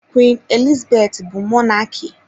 Queen Elizabeth bu Mọnaki.